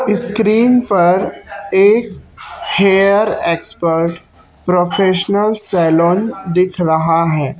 Screen पर एक hair expert professional salon दिख रहा है।